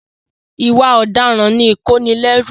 Ìwà ọ̀daràn ni ìkónilẹ́rù.